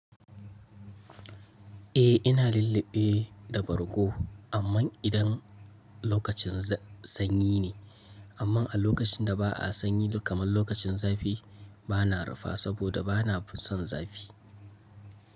Eh, ina lulluɓe da bargo amman idan lokacin sanyi ne. Amma a lokacin da ba a sanyi kamar lokacin zafi, bana rufa saboda bana son zafi.